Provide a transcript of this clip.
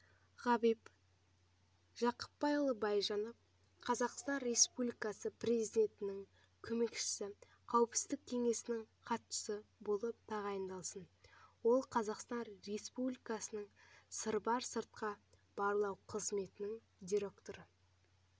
ғабит жақыпбайұлы байжанов қазақстан республикасы президентінің көмекшісі қауіпсіздік кеңесінің хатшысы болып тағайындалсын ол қазақстан республикасы сырбар сыртқы барлау қызметінің директоры